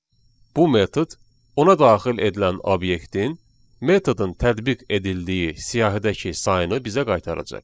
Bu metod ona daxil edilən obyektin metodun tətbiq edildiyi siyahıdakı sayını bizə qaytaracaq.